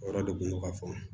O yɔrɔ de kun do ka fɔ